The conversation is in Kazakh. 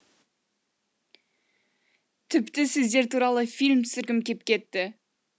тіпті сіздер туралы фильм түсіргім кеп кетті